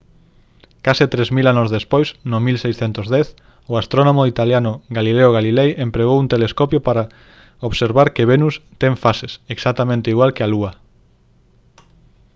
case tres mil anos despois no 1610 o astrónomo italiano galileo galilei empregou un telescopio para observar que venus ten fases exactamente igual que a lúa